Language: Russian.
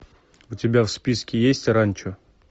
у тебя в списке есть ранчо